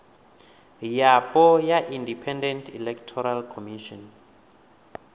yapo ya independent electoral commission